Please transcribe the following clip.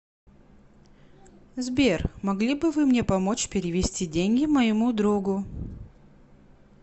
сбер могли бы вы мне помочь перевести деньги моему другу